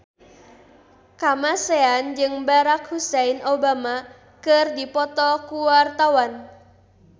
Kamasean jeung Barack Hussein Obama keur dipoto ku wartawan